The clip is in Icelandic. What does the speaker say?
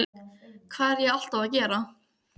Um vorið fékk Vestmann nýlega galeiðu til umráða.